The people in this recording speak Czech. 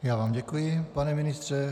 Já vám děkuji, pane ministře.